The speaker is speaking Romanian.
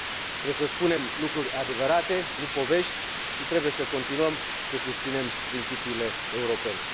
Trebuie să spunem lucruri adevărate, nu povești, și trebuie să continuăm să susținem principiile europene.